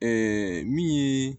min ye